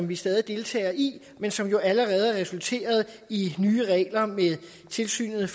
vi stadig deltager i men som jo allerede har resulteret i nye regler om tilsynet